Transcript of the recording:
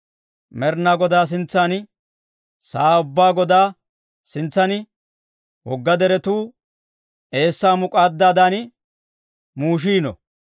Med'inaa Godaa sintsan, sa'aa ubbaa Godaa sintsan wogga deretuu eessaa muk'aaddaadan muushiino.